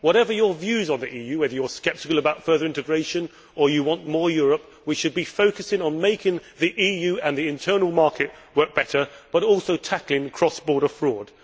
Whatever your views on the EU, whether you are sceptical about further integration or you want more Europe, we should be focusing on making the EU and the Internal Market work better, but also tackling cross border fraud.